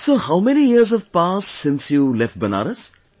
So how many years have passed since you left Banaras